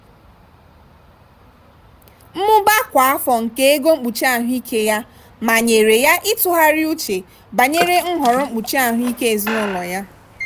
mmụba kwa afọ nke ego mkpuchi ahụike ya manyere ya ịtụgharị uche banyere nhọrọ mkpuchi ahụike ezinụlọ ya.